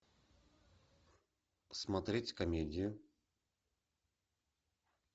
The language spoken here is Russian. смотреть комедию